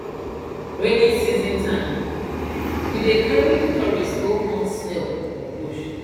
rainy season time we dey carry tourists go hunt snail for bush